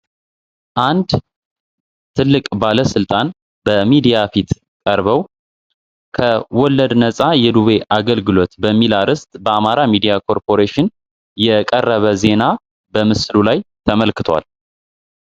አንድ ትልቅ ባለ ሥልጣን በሚዲያ ፊት ቀርበው ከወለድ ነጻ የዱቤ አገልግሎት በሚል አርእስት በአማራ ሚዲያ ኮርፖሬሽን የቀረበ ዜና በምስሉ ላይ ተመልክተዋል።